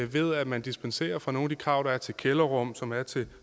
ved at man dispenserer fra nogle af de krav som er til kælderrum som er til